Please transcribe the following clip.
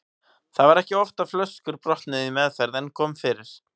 Það var ekki oft að flöskur brotnuðu í meðferð en kom fyrir.